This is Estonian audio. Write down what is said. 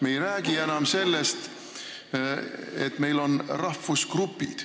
Me ei räägi enam sellest, et meil on rahvusgrupid.